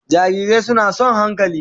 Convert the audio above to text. Jarirai suna son hankali